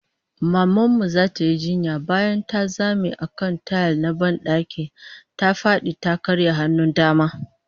Maman mu zata yi jinya, bayan ta zame a kan tayil na ban daki, ta fadi ta karya hannun dama